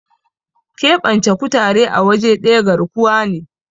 keɓance kutare a waje daya garkuwa ne